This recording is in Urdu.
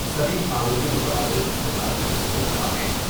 سبھی قانونی متبادل استعمال کرنے کو کہا ہے ۔